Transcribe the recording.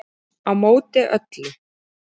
Á móti öllu